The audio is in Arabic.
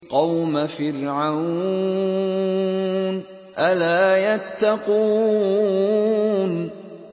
قَوْمَ فِرْعَوْنَ ۚ أَلَا يَتَّقُونَ